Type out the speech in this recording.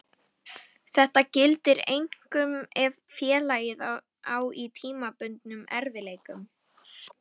Þetta gildir einkum ef félagið á í tímabundnum erfiðleikum.